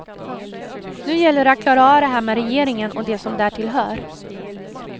Nu gäller det att klara av det här med regeringen och det som därtill hör.